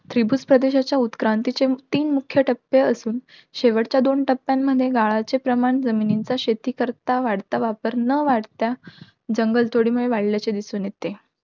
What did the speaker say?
त्रिभुजप्रदेशाच्या उत्क्रांतीचे तीन मुख्य टप्पे असून, शेवटच्या दोन टप्प्यांमध्ये गाळाचे प्रमाण जमिनीचा शेतीकरता वाढता वापर न वाढता, जंगलतोडीमुळे वाढल्याचे दिसून येते.